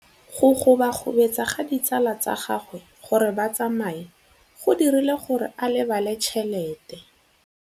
Go gobagobetsa ga ditsala tsa gagwe, gore ba tsamaye go dirile gore a lebale tšhelete.